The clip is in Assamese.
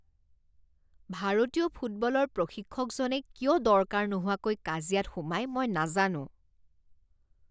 ভাৰতীয় ফুটবলৰ প্ৰশিক্ষকজনে কিয় দৰকাৰ নোহোৱাকৈ কাজিয়াত সোমায় মই নাজানো।